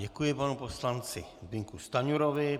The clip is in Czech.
Děkuji panu poslanci Zbyňku Stanjurovi.